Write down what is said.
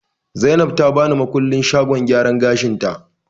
Zainab ta bani makullin shagon gyaran gashin ta